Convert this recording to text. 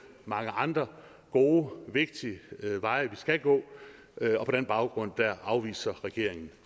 mange andre gode vigtige veje vi skal gå på den baggrund afviser regeringen